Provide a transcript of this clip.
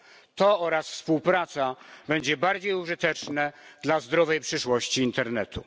To oraz współpraca będzie bardziej użyteczne dla zdrowej przyszłości internetu.